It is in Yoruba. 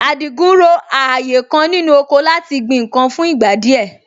Àdìgún ro ààyè kan nínú oko láti gbin nǹkan fún ìgbà díẹ̀